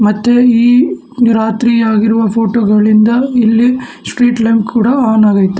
ಮತ್ತು ಈ ರಾತ್ರಿಯಾಗಿರುವ ಫೋಟೋ ಗಳಿಂದ ಇಲ್ಲಿ ಸ್ಟ್ರೀಟ್ ಲೈಟ್ ಕೂಡ ಆನ್ ಆಗೈತೆ.